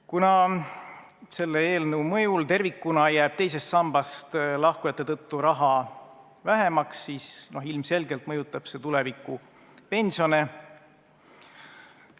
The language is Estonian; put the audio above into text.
Kuna selle eelnõu mõjul tervikuna jääb teisest sambast lahkujate tõttu raha vähemaks, siis ilmselgelt mõjutab see tulevikupensione.